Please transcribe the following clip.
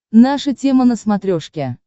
наша тема на смотрешке